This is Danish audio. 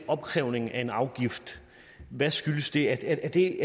opkrævning af en afgift hvad skyldes det er det